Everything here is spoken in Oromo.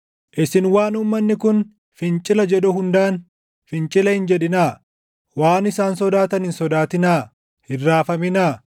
“Isin waan uummanni kun fincila jedhu hundaan fincila hin jedhinaa; waan isaan sodaatan hin sodaatinaa; hin raafaminaa.